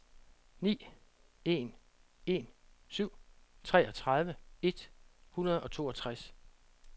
ni en en syv treogtredive et hundrede og toogtres